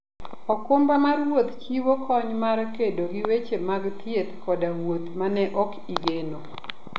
okumba mar wuoth chiwo kony mar kedo gi weche mag thieth koda wuoth ma ne ok igeno.